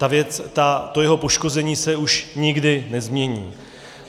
To jeho poškození se už nikdy nezmění.